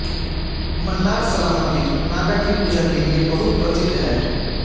मन्नारसला मंदिर नागा की पूजा केलिए बहुत प्रसिद्ध है